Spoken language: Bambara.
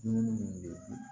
Dumuni munnu be ye